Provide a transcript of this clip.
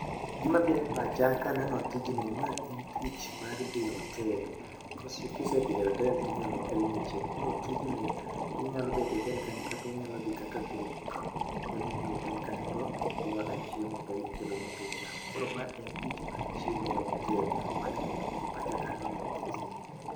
Gima biro e pacha ka aneno tijni, ma en tich mar dhi e hotel. Kisedhi e hotel to inyalo kelni chiemo. Koro tijni, inyalo betie e hotel kanyo kata unyalo dhi kaka group. Unyalo dhi e hotel kanyo, to u order chiemo to ikelonu to uchamo. Koro ma en tich mar chiemo e hotel, mano e gima biro e pacha ka aneno tijni.